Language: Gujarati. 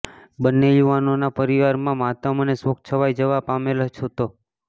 બંને યુવાનો નાં પરિવાર માં માતમ અને શોક છવાઈ જવા પામેલ હતો